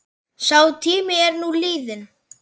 Sá tími er nú liðinn.